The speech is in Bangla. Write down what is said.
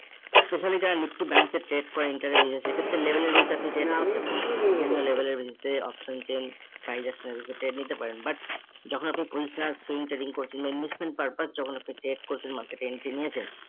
specially যারা Nifty bank এ trade করে সেক্ষেত্রে level এর আপনি trade করতে পারেন। বিভিন্ন level এর বিরুদ্ধে option chain trade নিতে পারেন but যখন আপনি swing training করছেন বা investment purpose যখন আপনি trade করছেন market এ entry নিয়েছেন